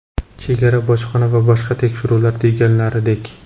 Chegara, bojxona va boshqa tekshiruvlar deganlaridek.